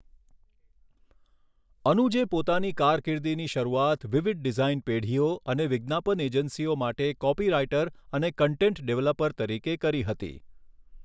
અનુજે પોતાની કારકિર્દીની શરૂઆત વિવિધ ડિઝાઇન પેઢીઓ અને વિજ્ઞાપન એજન્સીઓ માટે કોપીરાઇટર અને કૉન્ટેન્ટ ડેવલપર તરીકે કરી હતી.